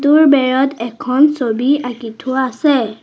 বেৰত এখন ছবি আঁকি থোৱা আছে।